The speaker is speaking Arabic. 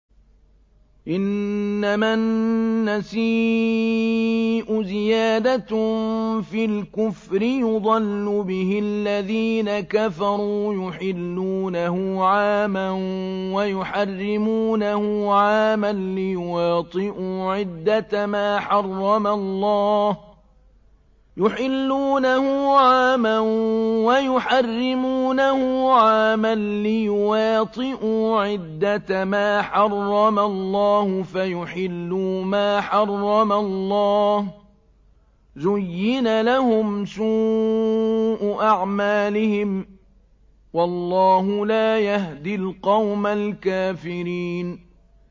إِنَّمَا النَّسِيءُ زِيَادَةٌ فِي الْكُفْرِ ۖ يُضَلُّ بِهِ الَّذِينَ كَفَرُوا يُحِلُّونَهُ عَامًا وَيُحَرِّمُونَهُ عَامًا لِّيُوَاطِئُوا عِدَّةَ مَا حَرَّمَ اللَّهُ فَيُحِلُّوا مَا حَرَّمَ اللَّهُ ۚ زُيِّنَ لَهُمْ سُوءُ أَعْمَالِهِمْ ۗ وَاللَّهُ لَا يَهْدِي الْقَوْمَ الْكَافِرِينَ